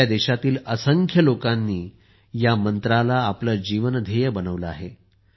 आपल्या देशातील असंख्य लोकांनी या मंत्राला आपले जीवन ध्येय बनवले आहे